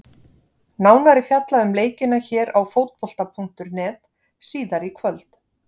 Nánar er fjallað um leikina hér á Fótbolta.net síðar í kvöld.